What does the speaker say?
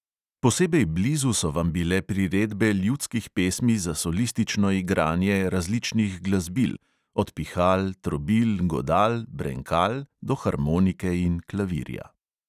Posebej blizu so vam bile priredbe ljudskih pesmi za solistično igranje različnih glasbil, od pihal, trobil, godal, brenkal do harmonike in klavirja …